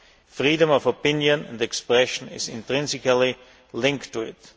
right freedom of opinion and expression is intrinsically linked